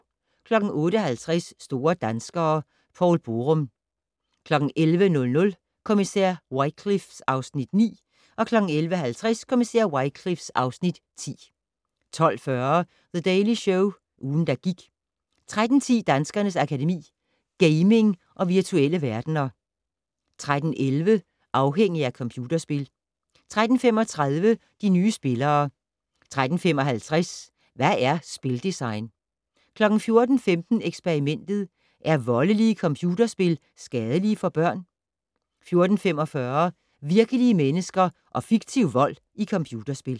08:50: Store danskere - Poul Borum 11:00: Kommissær Wycliffe (Afs. 9) 11:50: Kommissær Wycliffe (Afs. 10) 12:40: The Daily Show - ugen, der gik 13:10: Danskernes Akademi: Gaming og virtuelle verdener 13:11: Afhængig af computerspil 13:35: De nye spillere 13:55: Hvad er spildesign? 14:15: Eksperimentet: Er voldelige computerspil skadelige for børn? 14:45: Virkelige mennesker og fiktiv vold i computerspil